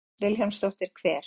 Hödd Vilhjálmsdóttir: Hver?